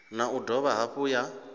na u dovha hafhu ya